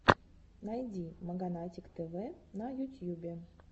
найди маганатик тв на ютьюбе